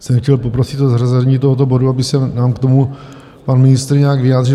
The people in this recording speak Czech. jsem chtěl poprosit o zařazení tohoto bodu, aby se nám k tomu pan ministr nějak vyjádřil.